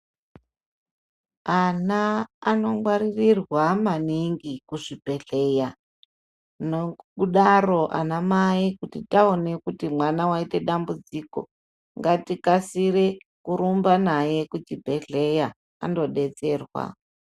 Ana ano ngwaririrwa maningi kuzvibhedhlera nokudaro ana mai kuti taone kuti mwana waite dambudziko ngatikasire kurumba naye kuchibhedhlera andodetserwa.